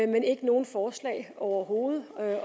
men ikke nogen forslag overhovedet